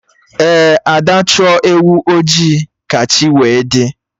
Ee, Ada Chụọ ewu ojii ka chi wee dị